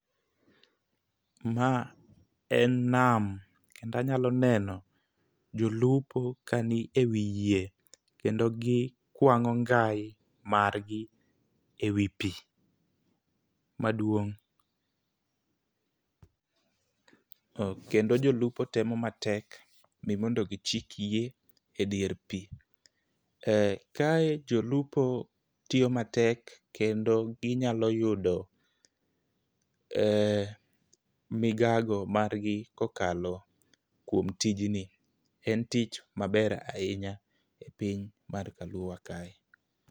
Ma en nam kendo anyalo neno jolupo ka ni ewi yie kendo gikwang'o ngai margi ewi pi maduong'. Kendo jolupo temo matek mi mondo gichik yie ewi pi. Kae jolupo temo matek kendo ginyalo yudo migago margi kokalo kuom tijni. En tich maber ahinya e piny mar kaluowa kae.